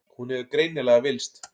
Hún hefur greinilega villst.